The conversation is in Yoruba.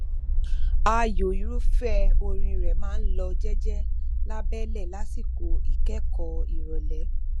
ààyò irúfẹ orin rẹ máa n lọ jẹjẹ lábẹlẹ lásìkò ìkẹkọọ ìrọlẹ